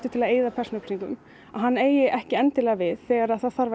til að eyða persónuupplýsingum eigi ekki endilega við þegar þarf